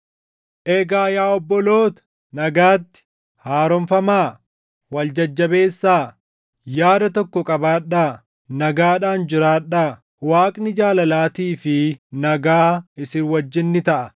Egaa yaa obboloota nagaatti. Haaromfamaa; wal jajjabeessaa; yaada tokko qabaadhaa; nagaadhaan jiraadhaa. Waaqni jaalalaatii fi nagaa isin wajjin ni taʼa.